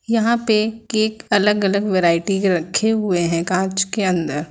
यहां पे केक अलग अलग वैरायटी के रखे हुए हैं कांच के अंदर।